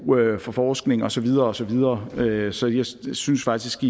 for forskning og så videre og så videre så jeg synes synes faktisk